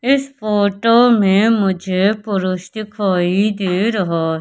इस फोटो में मुझे पुरूष दिखाई दे रहा--